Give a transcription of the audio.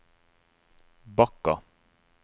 Bakka